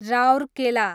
Rourkela